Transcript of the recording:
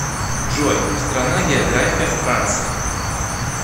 джой страна география франции